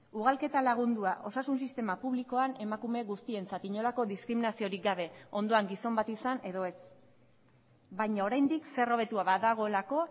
ugalketa lagundua osasun sistema publikoan emakume guztientzat inolako diskriminaziorik gabe ondoan gizon bat izan edo ez baina oraindik zer hobetua badagoelako